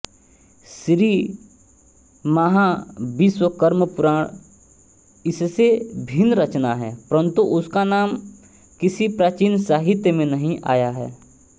श्रीमहाविश्वकर्मपुराण इससे भिन्न रचना है परन्तु उसका नाम किसी प्राचीन साहित्य में नहीं आया है